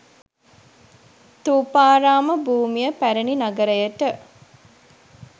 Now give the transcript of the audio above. ථූපාරාම භූමිය පැරණි නගරයට